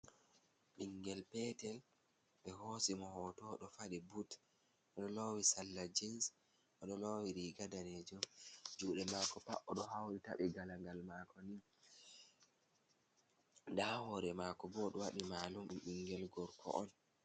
Ɓingel petel ɓe hosi mo hoto ɗo fadi but, oɗo lowi salla jins, oɗo lowi riga danejum, jude mako pat odo hauri tabɓii galagal mako ni nda hore mako bo oɗo waɗi malum ɗum ɓingel gorko on.